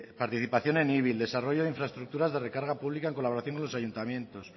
participación en el desarrollo de infraestructuras de recarga pública en colaboración con los ayuntamientos